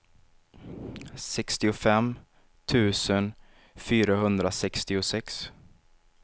sextiofem tusen fyrahundrasextiosex